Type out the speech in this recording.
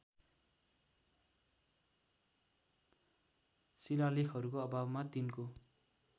शिलालेखहरूको अभावमा तिनको